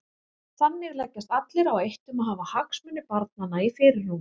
Þannig leggjast allir á eitt um að hafa hagsmuni barnanna í fyrirrúmi.